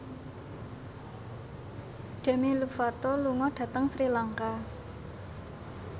Demi Lovato lunga dhateng Sri Lanka